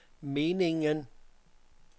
meningen